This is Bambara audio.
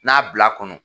N'a bil'a kɔnɔ